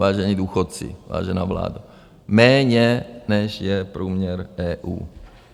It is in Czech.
Vážení důchodci, vážená vládo, méně, než je průměr EU.